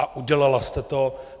A udělala jste to.